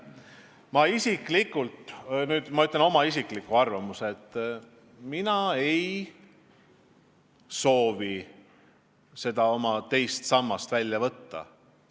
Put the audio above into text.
Ma isiklikult – nüüd ma ütlen oma isikliku arvamuse – ei soovi seda oma teise samba raha välja võtta.